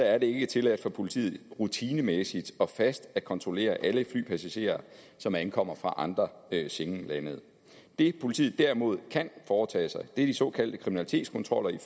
er det ikke tilladt for politiet rutinemæssigt og fast at kontrollere alle flypassagerer som ankommer fra andre schengenlande det politiet derimod kan foretage sig er de såkaldte kriminalitetskontroller af